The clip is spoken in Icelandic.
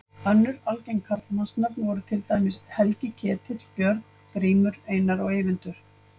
Önnur algeng karlmannsnöfn voru til dæmis Helgi, Ketill, Björn, Grímur, Einar og Eyvindur.